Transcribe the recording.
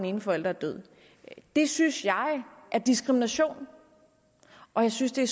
ene forælder er død det synes jeg er diskrimination og jeg synes det